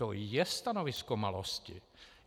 To je stanovisko malosti.